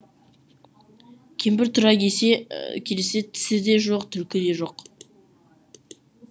кемпір тұра кесе келсе тісі де жоқ түлкі де жоқ